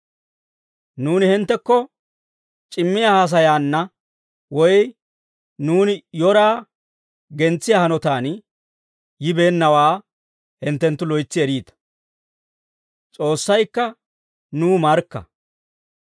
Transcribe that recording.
Nuuni hinttekko c'immiyaa haasayaanna, woy nuuni yoraa gentsiyaa hanotaan yibeennawaa hinttenttu loytsi eriita; S'oossaykka nuw markka.